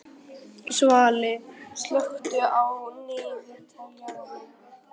Svali, slökktu á niðurteljaranum.